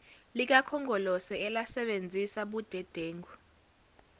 likakhongolose elasebenzisa budedengu